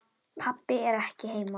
Pabbi er ekki heima.